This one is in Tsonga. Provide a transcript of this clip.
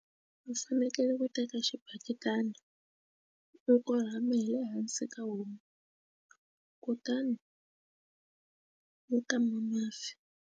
A fanekele ku teka xibaketani loko lama hi le hansi ka homu kutani u kama mafi.